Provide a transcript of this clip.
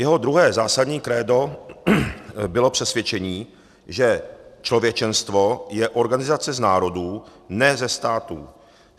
Jeho druhé zásadní krédo bylo přesvědčení, že člověčenstvo je organizace z národů, ne ze států.